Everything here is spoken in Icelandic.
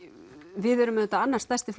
við erum auðvitað annar stærsti